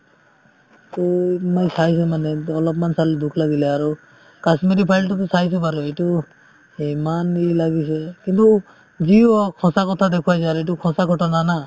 to মই চাইছো মানে অলপমান চালো দুখ লাগিলে আৰু কাশ্মীৰি files তোতো চাইছো বাৰু এইটো ইমান ই লাগিছে কিন্তু যিও হওক সঁচা কথা দেখুৱাইছে আৰু এইটো সঁচা কথা জানা